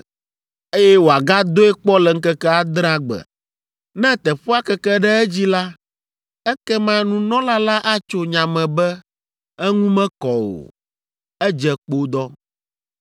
eye wòagadoe kpɔ le ŋkeke adrea gbe. Ne teƒea keke ɖe edzi la, ekema nunɔla la atso nya me be eŋu mekɔ o, edze kpodɔ.